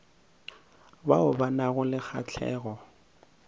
bao ba nago le kgahlego